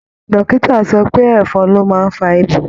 Dọ́kítà sọ pé ẹ̀fọn ló má ań fa ibà.